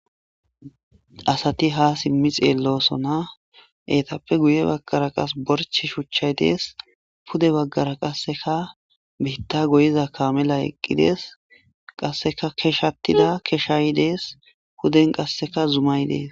Asati hasimi xellosona etappe guyebagara qasi gorche shuchay Des pude bagara qaseka bitta goyiza kamelay eqides qasaka keshatida kashay Des. Puden qasekka zumay Des.